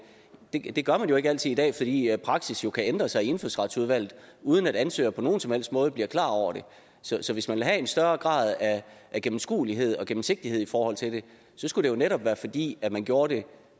gør man jo ikke altid i dag fordi praksis kan ændre sig i indfødsretsudvalget uden at ansøgeren på nogen som helst måde bliver klar over det så hvis man vil have en større grad af gennemskuelighed og gennemsigtighed i forhold til det skulle det jo netop være fordi man gjorde det